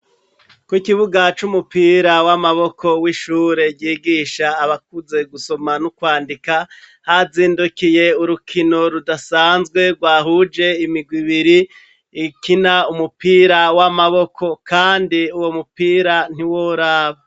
Ku kibuga c'umupira w'amaboko w'ishure ryigisha abakuze gusoma n'ukwandika, hazindukiye urukino rudasanzwe rwahuje imigwi ibiri ikina umupira w'amaboko, kandi uwo mupira ntiworaba.